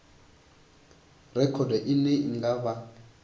rekhodo ine i nga vha